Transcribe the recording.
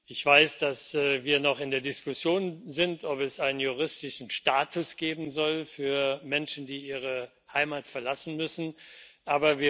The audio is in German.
Ich weiß, dass wir noch in der Diskussion sind, ob es einen juristischen Status für Menschen, die ihre Heimat verlassen müssen, geben soll.